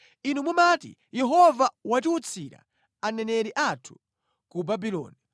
Inu mumati, “Yehova watiwutsira aneneri athu ku Babuloni,”